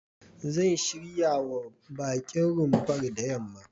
Zan shiryawa baƙin rumfar da yamma.